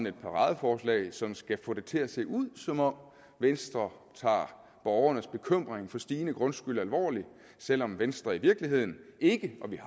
et paradeforslag som skal få det til at se ud som om venstre tager borgernes bekymring for stigende grundskyld alvorligt selv om venstre i virkeligheden ikke og vi